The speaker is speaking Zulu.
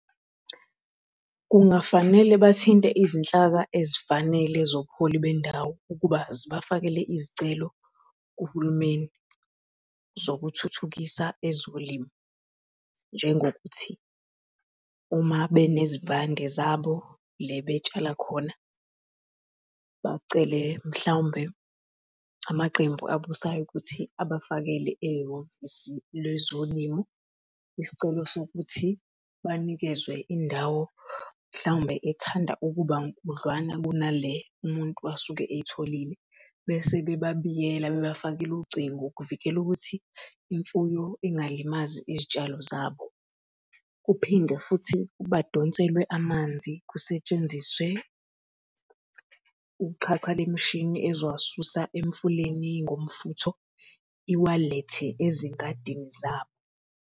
Kungafanele bathinte izinhlaka ezifanele zobuholi bendawo ukuba zibafakele izicelo kuhulumeni zokuthuthukisa ezolimo, njengokuthi uma benezivande zabo le betshala khona, bacele mhlawumbe amaqembu abusayo ukuthi abafakele ehhovisi lwezolimo. Isicelo sokuthi banikezwe indawo mhlawumbe ethanda ukuba nkudlwana kunale umuntu asuke eyitholile, bese bebabiyela bebafakela ucingo ukuvikela ukuthi imfuyo ingalimazi izitshalo zabo. Kuphinde futhi badonselwe amanzi, kusetshenziswe uxhaxha lemishini eziwasusa emfuleni ngomfutho iwalethe ezingadini zabo.